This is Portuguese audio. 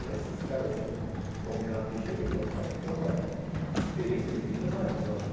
Mas esses caras assim, como o Renato Teixeira, que é um cara que tem uma experiência de vida maravilhosa, né?